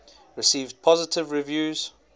received positive reviews